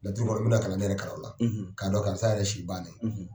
Laturu kɔni n bɛ na kalanden yɛrɛ kalan o la k'a dɔn karisa yɛrɛ si bannen.